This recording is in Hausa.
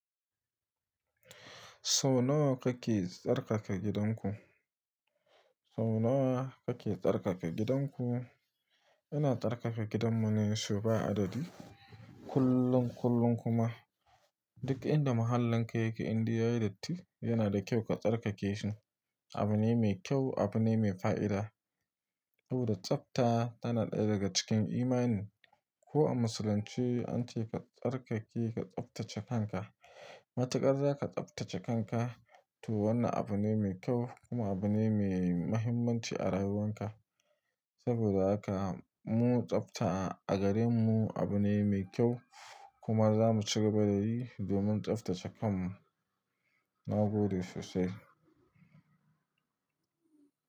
Sau nawa kake tsarkaka gidanku? Sau nawa kake tsarkaka gidanku? Ina tsarkaka gidanmu ne so ba adadi. Kullun, kullun kuma duk inda muhallin ka yake, inde yayi datti yana da kyau ka tsarkake shi. Abune mai kyau, abune mai fa'ida. Saboda tsafta tana ɗaya daga cikin imani. Ko a musuluncie, an ce ka tsarkake, ka tsaftace kanka. Matukar za ka tsaftace kanka, to wannan abune mai kyau kuma abune mai mahimmanci a rayuwarka. Saboda haka mu tsafta a gare mu abune mai kyau kuma za mu cigaba da yi, domin tsaftace kanmu. Na gode sosai.